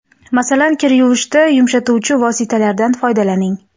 Masalan, kir yuvishda yumshatuvchi vositalardan foydalaning.